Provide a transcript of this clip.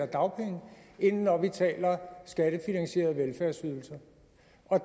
dagpenge end når vi taler om skattefinansierede velfærdsydelser